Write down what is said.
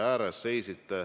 Jätkame siis sealtsamast.